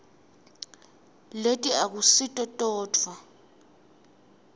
leti akusito todvwa